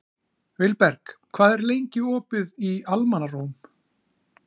Vilberg, hvað er lengi opið í Almannaróm?